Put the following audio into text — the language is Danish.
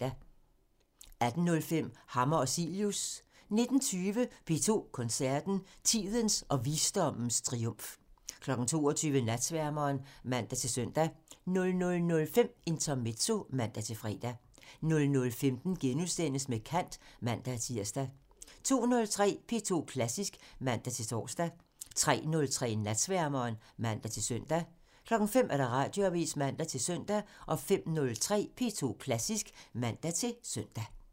18:05: Hammer og Cilius (man) 19:20: P2 Koncerten – Tidens og visdommens triumf 22:00: Natsværmeren (man-søn) 00:05: Intermezzo (man-fre) 00:15: Med kant *(man-tir) 02:03: P2 Klassisk (man-tor) 03:03: Natsværmeren (man-søn) 05:00: Radioavisen (man-søn) 05:03: P2 Klassisk (man-søn)